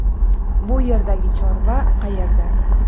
Bu yerdagi chorva qayerda?